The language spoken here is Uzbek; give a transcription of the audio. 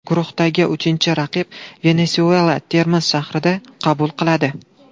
Guruhdagi uchinchi raqib Venesuela Termiz shahrida qabul qiladi.